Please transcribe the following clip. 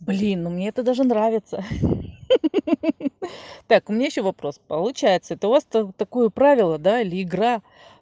блин ну мне это даже нравится так у меня ещё вопрос это у вас получается это просто такое правило да или игра